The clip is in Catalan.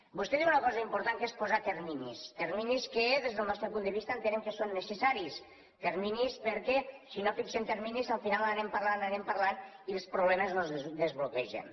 vostè diu una cosa important que és posar terminis terminis que des del nostre punt de vista entenem que són necessaris terminis perquè si no fixem terminis al final anem parlant anem parlant i els problemes no es desbloquegen